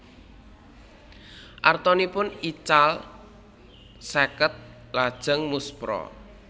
Artanipun ical seket lajeng muspra